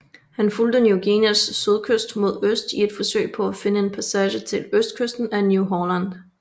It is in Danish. Han fulgte Ny Guineas sydkyst mod øst i et forsøg på at finde en passage til østkysten af New Holland